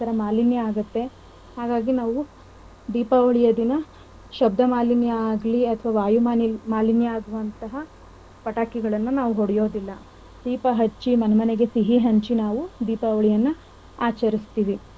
ಹಾಗಾಗಿ ನಾವು ದೀಪಾವಳಿಯ ದಿನ ಶಬ್ದ ಮಾಲಿನ್ಯ ಆಗ್ಲಿ ಅಥವಾ ವಾಯು ಮಾಲಿ~ ಮಾಲಿನ್ಯ ಆಗುವಂತಹ ಪಟಕಿಗಳನ್ನ ನಾವು ಒಡೆಯೋದಿಲ್ಲ. ದೀಪ ಹಚ್ಚಿ ಮನಮನೆಗೆ ಸಿಹಿ ಹಂಚಿ ನಾವು ದೀಪಾವಳಿನ ಆಚರಿಸ್ತಿವಿ .